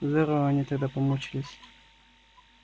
здорово они тогда помучились